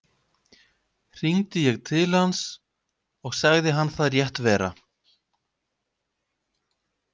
Hringdi ég til hans og sagði hann það rétt vera.